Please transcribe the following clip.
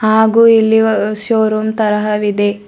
ಹಾಗು ಇಲ್ಲಿ ವ ಹಾ ಶೋ ರೂಮ್ ತರಹವಿದೆ.